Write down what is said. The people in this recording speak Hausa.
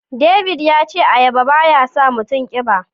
David yace ayaba ba ya sa mutum kiba.